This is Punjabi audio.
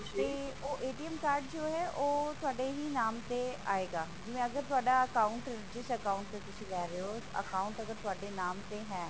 ਤੇ ਓਹ card ਜੋ ਹੈ ਓਹ ਤੁਹਾਡੇ ਹੀ ਨਾਮ ਤੇ ਆਏਗਾ ਜਿਵੇਂ ਅਗਰ ਤੁਹਾਡਾ account ਜਿਸ account ਤੇ ਤੁਸੀਂ ਲੈ ਰਹੇ ਹੋ account ਅਗਰ ਤੁਹਾਡੇ ਨਾਮ ਤੇ ਹੈ